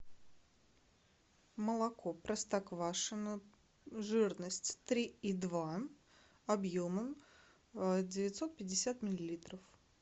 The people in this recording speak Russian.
молоко простоквашино жирность три и два объемом девятьсот пятьдесят миллилитров